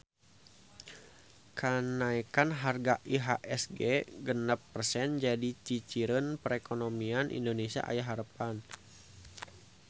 Kanaekan harga IHSG genep persen jadi ciciren perekonomian Indonesia aya harepan